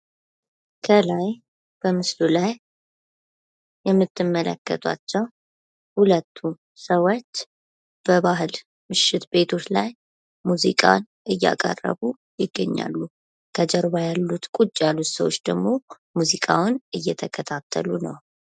ከላይ በምስሉ ላይ የምትመለከቱት ሁለቱ ሰዎች በባህል ምሽት ቤቶች ላይ ሙዚቃ እያቀረቡ ይገኛሉ ።ከጀርባ ያሉ ሰዎች ደግሞ ሙዚቃውን እየተከታተሉ ነው ።